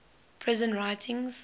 prison writings